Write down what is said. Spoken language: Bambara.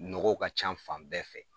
Nɔgɔ ka ca fan bɛɛ fɛ